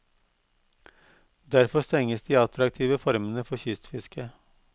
Derfor stenges de attraktive formene for kystfiske.